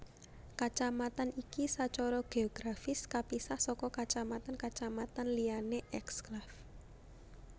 Kacamatan iki sacara geografis kapisah saka kacamatan kacamatan liyané eksklave